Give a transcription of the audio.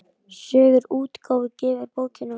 Sögur útgáfa gefur bókina út.